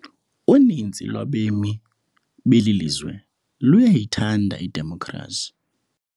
Uninzi lwabemi beli lizwe luyayithanda idemokhrasi.